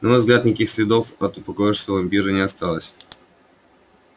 на мой взгляд никаких следов от упокоившегося вампира не осталось